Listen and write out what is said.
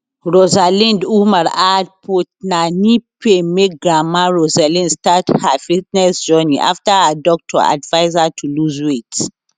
rosalind umar add put na knee pain make grandma rosalind start her fitness journey afta her doctor advise her to lose weight